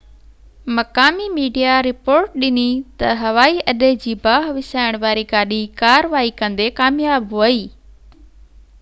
مقامي media report ڏني تہ هوائي اڏي جي باهہ وسائڻ واري گاڏي ڪاروائي ڪندي ڪامياب ويئي